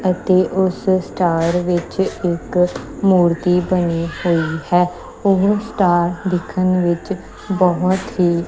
ਅਤੇ ਉਸ ਸਟਾਰ ਵਿੱਚ ਇੱਕ ਮੂਰਤੀ ਬਣੀ ਹੋਈ ਹੈ ਉਹ ਸਟਾਰ ਦਿਖਣ ਵਿੱਚ ਬਹੁਤ ਹੀ --